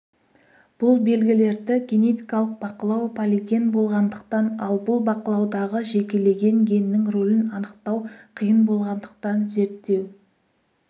бұл белгілерді генетикалық бақылау полиген болғандықтан ал бұл бақылаудағы жекелеген геннің рөлін анықтау қиын болғандықтан зерттеу